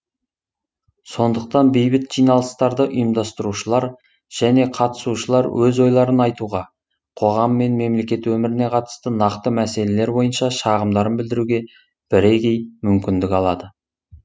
сондықтан бейбіт жиналыстарды ұйымдастырушылар және қатысушылар өз ойларын айтуға қоғам мен мемлекет өміріне қатысты нақты мәселелер бойынша шағымдарын білдіруге бірегей мүмкіндік алады